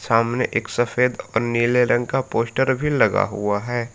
सामने एक सफेद और नीले रंग का पोस्टर भी लगा हुआ है।